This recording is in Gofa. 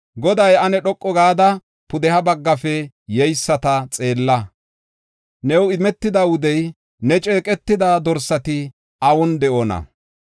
Goday, “Ane dhoqu gada, pudeha baggafe yeyisata xeella. New imetida wudey, ne ceeqetida dorsati awun de7oona?